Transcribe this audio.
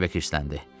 Starbek qəlsələndi.